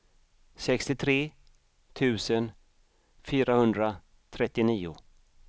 sextiotre tusen fyrahundratrettionio